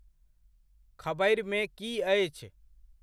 खबरिमे की अछि?